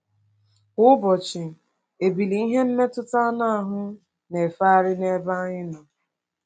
Kwa ụbọchị, ebili ihe mmetụta anụ ahụ na-efegharị n’ebe anyị nọ.